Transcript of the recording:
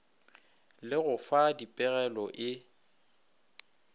le go fa dipegelo e